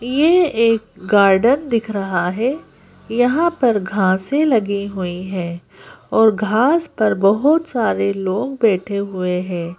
ये एक गार्डन दिख रहा है यहां पर घासें लगी हुई हैं और घास पर बहुत सारे लोग बैठे हुए हैं।